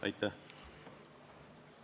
Aitäh!